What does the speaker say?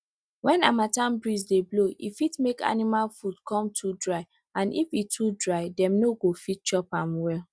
when harmattan breeze dey blow e fit make animal food come too dry and if e too dry dem no go fit chop am well